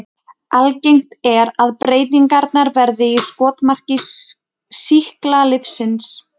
Algengt er að breytingarnar verði í skotmarki sýklalyfsins.